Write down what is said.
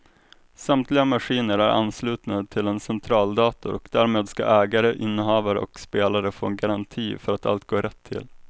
Samtliga maskiner är anslutna till en centraldator och därmed ska ägare, innehavare och spelare få en garanti för att allt går rätt till.